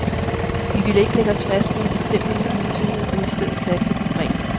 Vi ville ikke lægge os fast på en bestemt maskintype, men i stedet satse på bredden.